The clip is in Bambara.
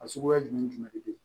A suguya jumɛn de bɛ yen